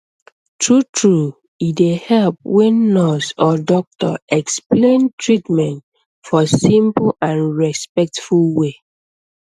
truetrue e dey help when nurse or doctor explain treatment for simple and respectful way